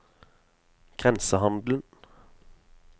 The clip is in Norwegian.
grensehandelen